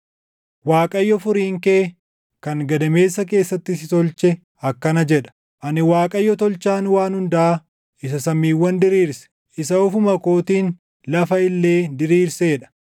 “ Waaqayyo Furiin kee, kan gadameessa keessatti si tolche akkana jedha: Ani Waaqayyo Tolchaan waan hundaa isa samiiwwan diriirse, isa ofuma kootiin lafa illee diriirsee dha;